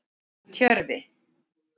Tjörvi